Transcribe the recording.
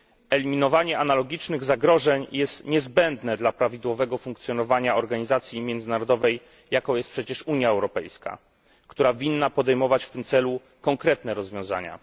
Eliminowanie analogicznych zagrożeń jest niezbędne dla prawidłowego funkcjonowania organizacji międzynarodowej, jaką jest Unia Europejska, która powinna podejmować w tym celu konkretne rozwiązania.